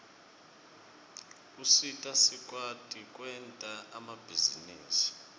usita sikwati kwenta emabhizinisi